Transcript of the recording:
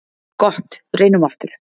Gott reynum aftur.